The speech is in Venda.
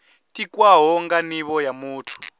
tikwaho nga nivho ya muthu